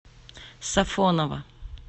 сафоново